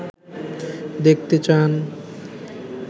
দেখতে চান